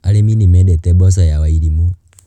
Arĩmi nĩ mendete mboco ya Wairimũ